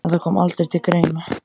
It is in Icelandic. En það kom aldrei til greina.